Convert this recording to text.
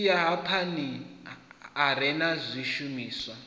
silahapani a re na zwishumiswa